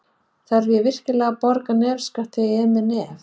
Þarf ég virkilega að borga nefskatt þegar ég er með kvef?